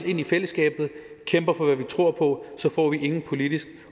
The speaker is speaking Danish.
ind i fællesskabet og kæmper for hvad vi tror på får vi ingen politisk